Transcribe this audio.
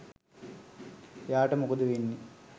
එයාට මොකද වෙන්නෙ